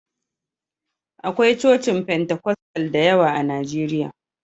Akwai cocin Fentekostal da yawa a Najeriya.